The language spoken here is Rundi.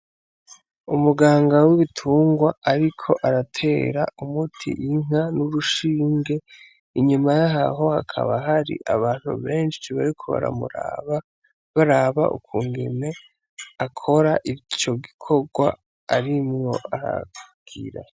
Umuganga w'ibitungwa ariko aratera umuti inka n'urushinge inyuma yaho hakaba hari abantu beshi bariko baramuraba baraba ukungene akora ico gikorwa arimwo aragira.